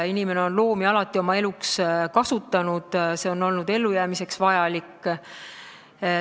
Inimene on loomi alati kasutanud, see on olnud ellujäämiseks vajalik.